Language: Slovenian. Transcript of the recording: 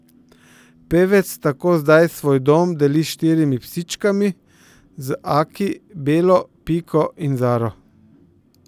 Pevec tako zdaj svoj dom deli s štirimi psičkami, z Aki, Belo, Piko in Zaro.